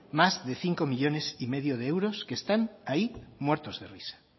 más de cinco coma cinco millónes de euros que están ahí muertos de risa